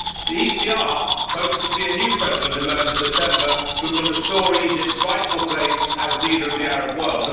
The ECR hopes to see a new president emerge in September who can restore Egypt's rightful place as leader of the Arab world.